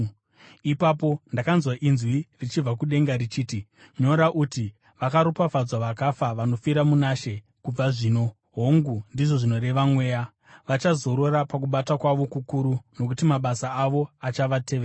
Ipapo ndakanzwa inzwi richibva kudenga richiti, “Nyora uti: Vakaropafadzwa vakafa vanofira muna She kubva zvino.” “Hongu,” ndizvo zvinoreva Mweya, “vachazorora pakubata kwavo kukuru, nokuti mabasa avo achavatevera.”